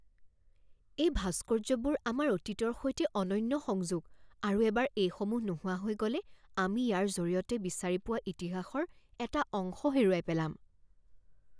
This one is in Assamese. এই ভাস্কৰ্যবোৰ আমাৰ অতীতৰ সৈতে অনন্য সংযোগ, আৰু এবাৰ এইসমূহ নোহোৱা হৈ গ'লে আমি ইয়াৰ জৰিয়তে বিচাৰি পোৱা ইতিহাসৰ এটা অংশ হেৰুৱাই পেলাম।